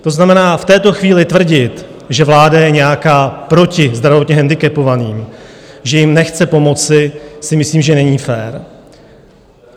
To znamená, v této chvíli tvrdit, že vláda je nějak proti zdravotně handicapovaným, že jim nechce pomoci, si myslím, že není fér.